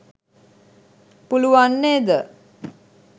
පුළුවන් නේද.